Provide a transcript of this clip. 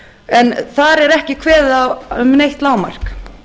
en þar er ekki kveðið á um neitt lágmark